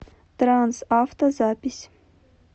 трансавто запись